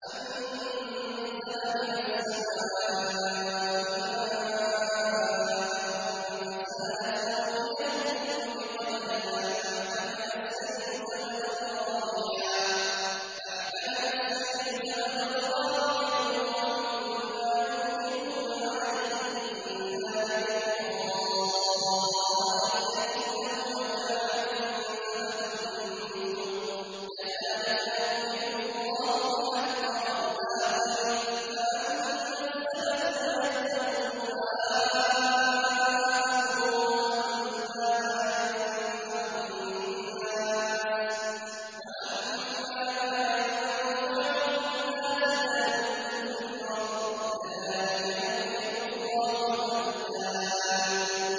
أَنزَلَ مِنَ السَّمَاءِ مَاءً فَسَالَتْ أَوْدِيَةٌ بِقَدَرِهَا فَاحْتَمَلَ السَّيْلُ زَبَدًا رَّابِيًا ۚ وَمِمَّا يُوقِدُونَ عَلَيْهِ فِي النَّارِ ابْتِغَاءَ حِلْيَةٍ أَوْ مَتَاعٍ زَبَدٌ مِّثْلُهُ ۚ كَذَٰلِكَ يَضْرِبُ اللَّهُ الْحَقَّ وَالْبَاطِلَ ۚ فَأَمَّا الزَّبَدُ فَيَذْهَبُ جُفَاءً ۖ وَأَمَّا مَا يَنفَعُ النَّاسَ فَيَمْكُثُ فِي الْأَرْضِ ۚ كَذَٰلِكَ يَضْرِبُ اللَّهُ الْأَمْثَالَ